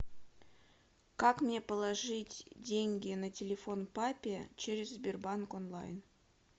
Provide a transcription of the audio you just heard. как мне положить деньги на телефон папе через сбербанк онлайн